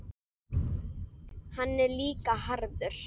Hann er líka harður.